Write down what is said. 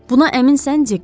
Buna əminsən Dik?